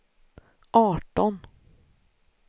arton